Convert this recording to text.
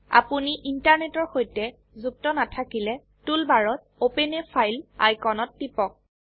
আপোনি ইন্টাৰনেটৰ সৈতে যুক্ত নাথাকিলে টুল বাৰত অপেন a ফাইল আইকনত টিপক